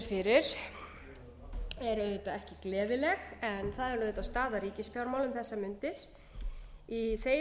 fyrir er auðvitað ekki gleðileg en það er auðvitað staða ríkisfjármála um þessar mundir í þeim